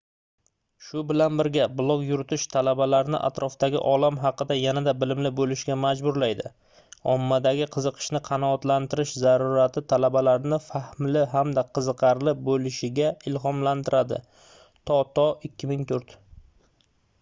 shu bilan birga blog yuritish talabalarni atrofidagi olam haqida yanada bilimli bo'lishga majburlaydi". ommadagi qiziqishni qanoatlantirish zarurati talabalarni fahmli hamda qiziqarli bo'lishga ilhomlantiradi toto 2004